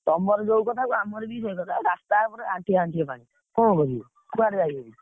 ତମର ଯୋଉ କଥାକୁ ଆମର ବି ସେଇ କଥା ରାସ୍ତା ଉପରେ ଆଣ୍ଠିଏ ଆଣ୍ଠିଏ ପାଣି, କଣ କରିବ, କୁଆଡେ ଯାଇ ହଉନି।